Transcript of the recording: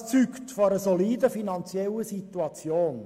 Das zeugt von einer soliden finanziellen Situation.